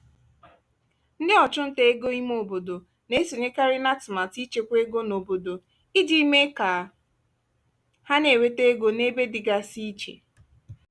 ndị ọchụnta ego ime obodo na-esonyekarị n'atụmatụ ịchekwa ego n'obodo iji mee ka ha na-enweta ego n'ebe dịgasị iche.